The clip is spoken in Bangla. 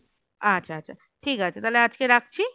আচ্ছা আচ্ছা ঠিক আছে তাহলে আজকে রাখছি